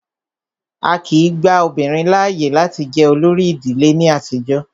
Á kìí gba obìnrin láàyè láti jẹ olórí ìdílé ní àtijọ́.